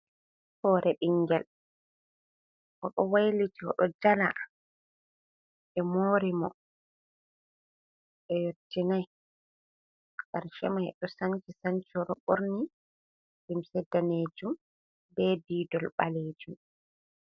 Hoore ɓinngel, o ɗo wayliti, o ɗo jala, ɓe moori mo, ɓe yottinay karce may, ɗo sanci sanci. O ɗo ɓorni limse daneejum, be diidol ɓaleejum.